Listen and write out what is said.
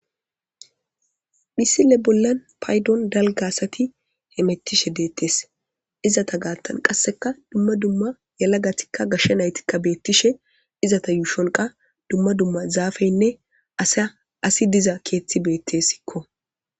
mhisile bollan paydon dalga asati hemettishe deettes izata gaattan qasseka dumma dumma yalagatikka gashshe naytikka beettishe izata yuushonqa dumma dumma zaafeynne saasi diza keethti beettessikko